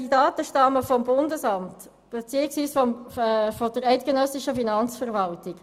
Die Daten stammen zudem vom Bund beziehungsweise von der eidgenössischen Finanzverwaltung.